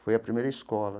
Foi a primeira escola.